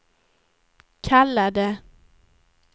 kallade